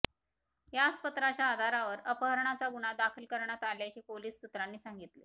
याच पत्राच्या आधारावर अपहरणाचा गुन्हा दाखल करण्यात आल्याचे पोलीस सुत्रांनी सांगितले